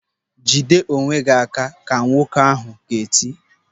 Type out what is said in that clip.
"Jide onwe gị aka", ka nwoke ahụ ga-eti.